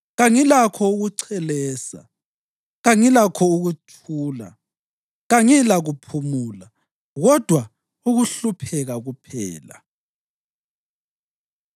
Kangilakho ukuchelesa, kangilakho ukuthula; kangilakuphumula, kodwa ukuhlupheka kuphela.”